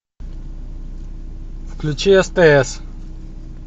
включи стс